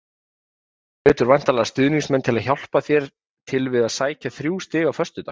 Þú hvetur væntanlega stuðningsmenn til að hjálpa til við að sækja þrjú stig á föstudag?